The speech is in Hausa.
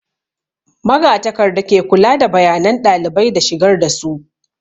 Magatakarda ke kula da bayanan ɗalibai da shigar da su